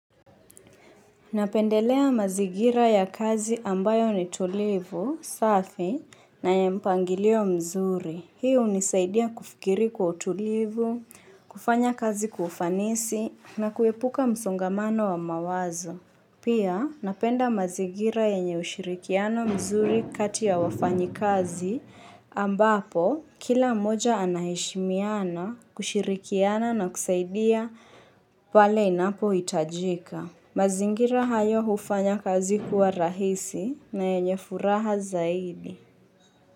Napendelea mazingira ya kazi ambayo ni tulivu, safi na ya mpangilio mzuri. Hii hunisaidia kufikiri kwa utulivu, kufanya kazi kufanisi na kuepuka msongamano wa mawazo. Pia napenda mazingira yenye ushirikiano mzuri kati ya wafanyi kazi ambapo kila moja anaheshimiana kushirikiana na kusaidia pale inapo itajika. Mazingira hayo hufanya kazi kuwa rahisi na yenye furaha zaidi.